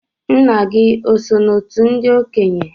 Nna gị oso n'òtù ndị okenye?